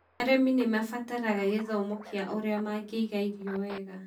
Arĩmi nĩ mabataraga gĩthomo kia ũrĩa mangĩiga irio wega.